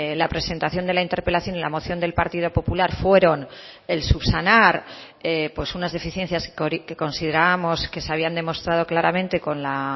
la presentación de la interpelación y la moción del partido popular fueron el subsanar unas deficiencias que considerábamos que se habían demostrado claramente con la